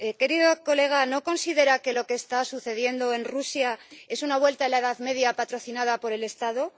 Querida colega, ¿no considera que lo que está sucediendo en Rusia es una vuelta a la Edad Media patrocinada por el Estado?